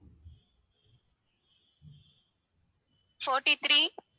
forty-three